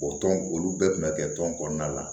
O tɔn olu bɛɛ tun bɛ kɛ tɔn kɔnɔna na